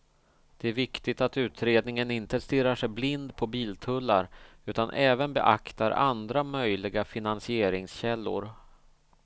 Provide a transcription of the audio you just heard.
Det är viktigt att utredningen inte stirrar sig blind på biltullar utan även beaktar andra möjliga finansieringskällor.